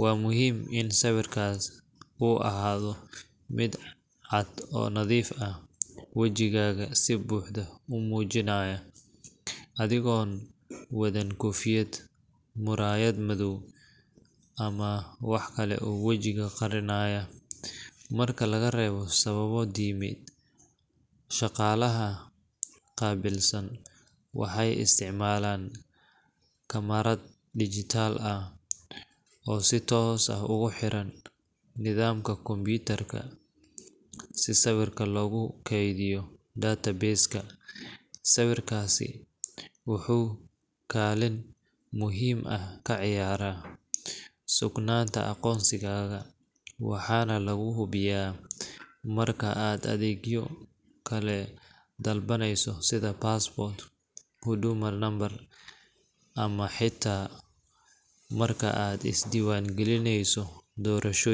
Waa muhiim in sawirkaasi uu ahaado mid cad oo nadiif ah, wejigaaga si buuxda u muujinaya, adigoon wadan koofiyad, muraayad madow, ama wax kale oo wejiga qarinaaya – marka laga reebo sababo diimeed. Shaqaalaha qaabilsan waxay isticmaalaan kamarad digital ah oo si toos ah ugu xiran nidaamka kombuyuutarka si sawirka loogu kaydiyo database-ka. Sawirkaasi wuxuu kaalin muhiim ah ka ciyaaraa sugnaanta aqoonsigaaga, waxaana lagu hubiyaa marka aad adeegyo kale dalbaneyso sida passport, huduma number, ama xitaa marka aad isdiiwaangelinayso doorashooyinka.